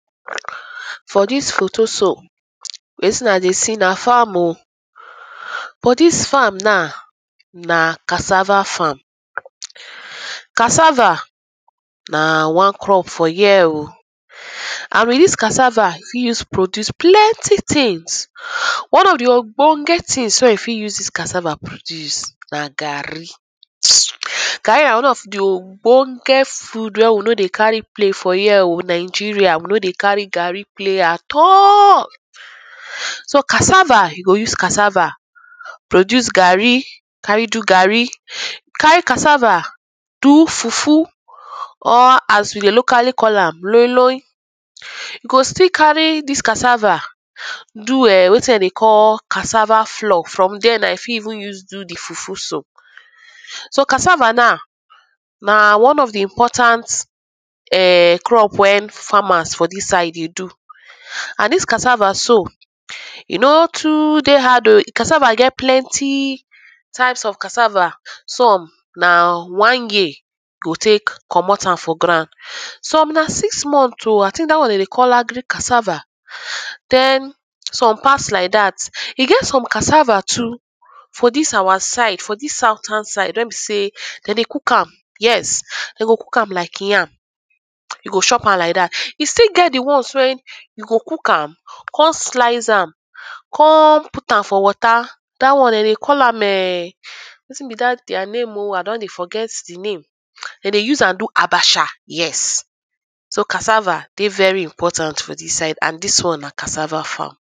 For dis photo so, wetin I dey see na farm oh, but dis farm na cassava farm. Cassava na one crop for here oh, and with dis cassava you fit use produce plenty things. One of di ogbonge things wey you fit use dis cassava produce na garri. [2] Garri na one of di ogbonge food wey we nor dey carry play for here oh, Nigeria we nor dey carry garri play at all. So cassava, you go cassava produce garri, carry do garri, carry cassava do fufu or as we dey locally call am loiloi, you go still cary dis cassava do wetin dem dey call cassava flour, from there na you fit even use do di fufu so. So cassava na, na one of di important [urn] crops wey farmers for dis side dey do. And dis cassava e no too dey hard oh, di cassava get plenty types of cassava. Some na one year you go take komot am for ground, some na six months oh, I think dat one dem dey call agric cassava, den some pass like dat. e get some cassava too for dis our side, for dis southern side, wen be sey, dem dey cook am, yes. Dem go cook am like yam, you go chop am like dat. E still get di one one wen e be sey, dem go cook am, come slice am, come put am for water. Dat one dem dey call am [urn] wetin be dat their name oh, I don dey forget di name. dem dey use am do abacha, yes. So cassava dey very important for dis side, and dis one na cassava farm.